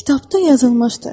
Kitabda yazılmışdı: